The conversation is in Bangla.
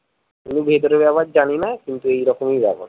আমি ভিতরের ব্যাপার জানিনা কিন্ত এইরকমই ব্যাপার